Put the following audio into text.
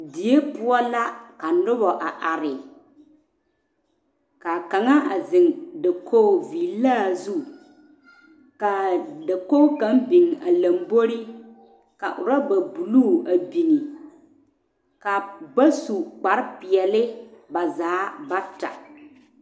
Die poɔ la ka noba a are ka kaŋa a zeŋ dakogi villaa zu kaa dakogi naŋ biŋ o lamboriŋ ka urɔba buluu a biŋ ka ba su kparre peɔle ba zaa bata